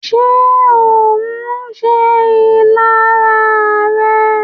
Ṣé ohùn se ìlara rẹ̀?